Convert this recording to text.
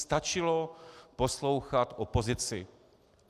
Stačilo poslouchat opozici.